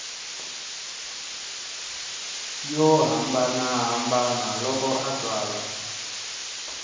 yo hambanahambana loko a tsala